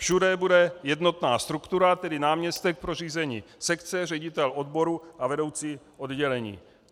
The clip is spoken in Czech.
Všude bude jednotná struktura, tedy náměstek pro řízení sekce, ředitel odboru a vedoucí oddělení.